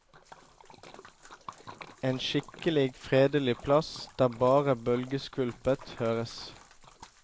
En skikkelig fredelig plass, der bare bølgeskvulpet høres.